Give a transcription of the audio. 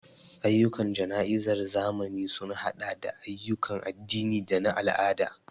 Ayyukan jana'izar zamani sun haɗa da ayyukan addini da na al'ada.